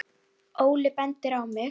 Óli bendir á mig